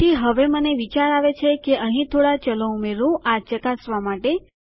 તેથી હવેમને વિચાર આવે છે કે અહીં થોડા ચલો ઉમેરું આ ચકાસવા માટે